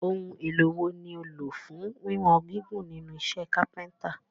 Ohun èlò wo ni o lò fún wíwọn gígùn nínú iṣẹ́ kápẹ́ntà?